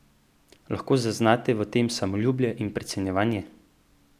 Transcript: Lahko zaznate v tem samoljubje in precenjevanje?